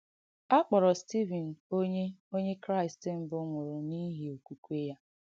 À kpọ̀rọ̀ Stívìn Onye Onye Kraịst mbụ̀ nwụ̀rụ̀ n’īhị ọ̀kwùkwē ya.